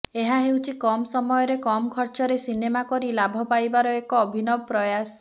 ଏହା ହେଉଛି କମ ସମୟରେ କମ ଖର୍ଚରେ ସିନେମା କରି ଲାଭ ପାଇବାର ଏକ ଅଭିନବ ପ୍ରୟାସ